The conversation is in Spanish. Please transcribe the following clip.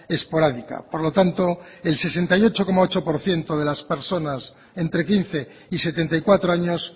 esporádica por lo tanto el sesenta y ocho coma ocho por ciento de las personas entre quince y setenta y cuatro años